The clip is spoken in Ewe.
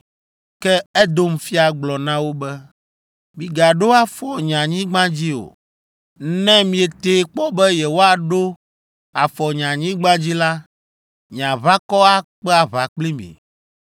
Ke Edom fia gblɔ na wo be, “Migaɖo afɔ nye anyigba dzi o! Ne mietee kpɔ be yewoaɖo afɔ nye anyigba dzi la, nye aʋakɔ akpe aʋa kpli mi!”